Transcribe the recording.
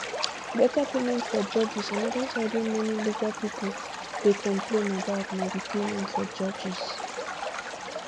better payment for judges anoda side wey many legal pipo legal pipo dey complain about na di payment for judges